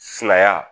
Silaya